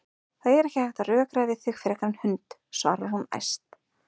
Það er ekki hægt að rökræða við þig frekar en hund, svarar hún æst.